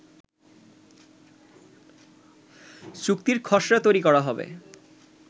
চুক্তির খসড়া তৈরি করা হবে